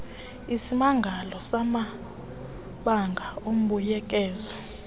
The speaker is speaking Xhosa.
izimangalo zamabango embuyekezo